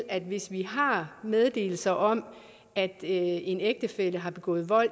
at hvis vi har meddelelse om at en ægtefælle har begået vold